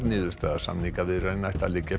niðurstaða samningaviðræðna ætti að liggja